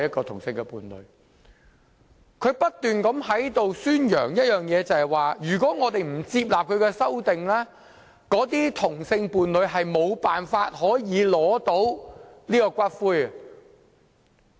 他不斷在此宣揚的一點是如果我們不接納他的修正案，該等同性伴侶將無法領回骨灰。